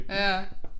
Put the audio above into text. Ja